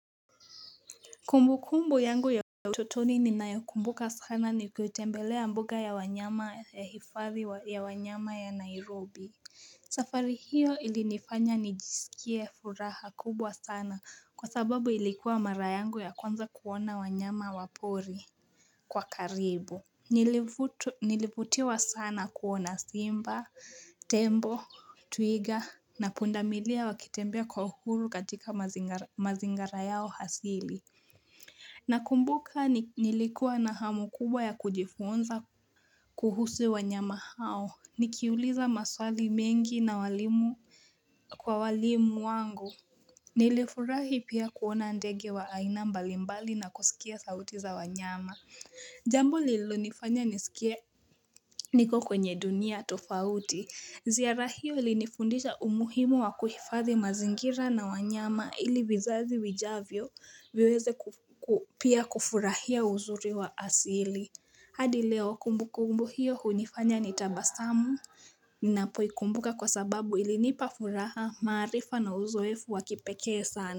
Kumbu kumbu yangu ya utotoni ninayo kumbuka sana ni kutembelea mboga ya wanyama ya hifadhi ya wanyama ya Nairobi safari hiyo ilinifanya nijisikie furaha kubwa sana kwa sababu ilikuwa mara yangu ya kwanza kuona wanyama wapori kwa karibu Nilivutiwa sana kuona simba, tembo, twiga na pundamilia wakitembea kwa uhuru katika mazingira yao hasili Nakumbuka nilikuwa na hamu kubwa ya kujifunza kuhusu wanyama hao. Nikiuliza maswali mengi na walimu kwa walimu wangu. Nilifurahi pia kuona ndege wa aina mbalimbali na kusikia sauti za wanyama. Jambo lililo nifanya nisikia niko kwenye dunia tofauti ziara hiyo ilinifundisha umuhimu wa kuhifadhi mazingira na wanyama ili vizazi vijavyo viweze pia kufurahia uzuri wa asili hadi leo kumbukumbu hiyo hunifanya nitabasamu Ninapo hikumbuka kwa sababu ilinipa furaha maarifa na uzoefu wakipekee sana.